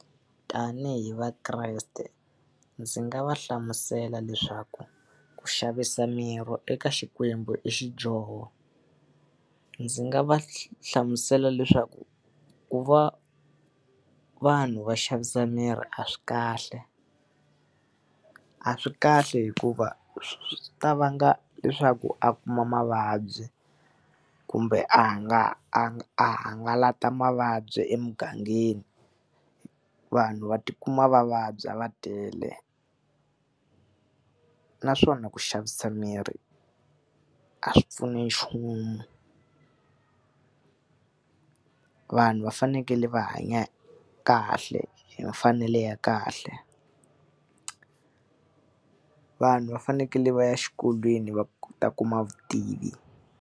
Tanihi vakreste ndzi nga va hlamusela leswaku ku xavisa miri eka Xikwembu i xidyoho. Ndzi nga va hlamusela leswaku ku va vanhu va xavisa miri a swi kahle, a swi kahle hikuva swi ta vanga leswaku a kuma mavabyi kumbe a a hangalata mavabyi emugangeni, vanhu va tikuma va vabya va tele. Naswona ku xavisa miri a swi pfuni nchumu, vanhu va fanekele va hanya kahle hi mfanelo ya kahle, vanhu va fanekele va ya exikolweni va ta kuma vutivi.